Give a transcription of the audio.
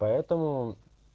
поэтому